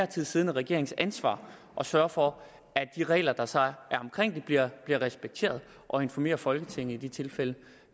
tid siddende regerings ansvar at sørge for at de regler der så er omkring det bliver respekteret og informere folketinget i de tilfælde